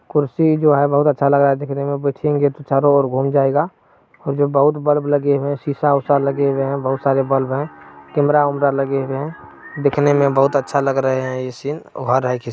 कुर्सी जो है बहुत अच्छा लग रहा है दिखने मै बैठेंगे तो चारो ओर घूम जायेगा और जो बहुत बल्ब लगे हुए है शीशा उषा लगे हुए है बहुत सारे बल्ब है कैमरा एमरा लगे हुए है दिखने मे बहुत अच्छा लग रहें है यह सीन